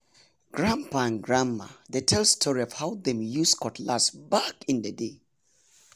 grandpapa and grandma dey tell story of how dem use cutlass back in the day.